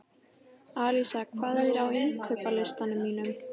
Alísa, hvað er á innkaupalistanum mínum?